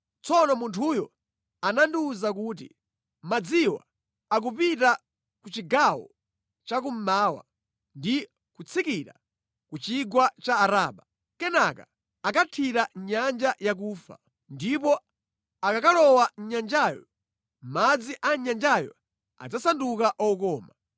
Tsono munthuyo anandiwuza kuti, “Madziwa akupita ku chigawo chakummawa ndi kutsikira ku chigwa cha Araba. Kenaka akathira mʼNyanja Yakufa, ndipo akakalowa mʼnyanjayo, madzi a nyanjayo adzasanduka okoma.